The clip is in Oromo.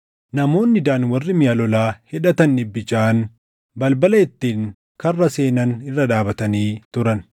Namoonni Daan warri miʼa lolaa hidhatan dhibbi jaʼaan balbala ittiin karra seenan irra dhaabatanii turan.